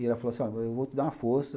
E ela falou assim, ó, eu vou te dar uma força.